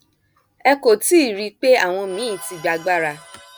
ẹ kò tí ì rí i pé àwọn míín ti gba agbára